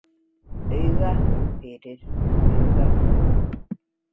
Auga fyrir auga.